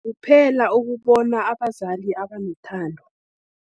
Kuphela ukubona abazali abanothando.